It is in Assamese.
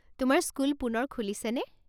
তোমাৰ স্কুল পুনৰ খুলিছেনে?